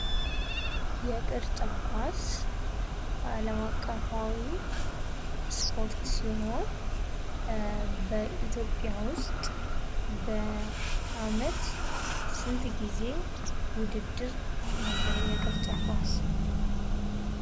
የቅርጫን ኳስ አለም አቀፋዊ ስፖርት ሲሆን በኢትዮጵያ ውስጥ በአመት ስንት ጊዜ ውድድር አለ የቅርጫንት ኳስ?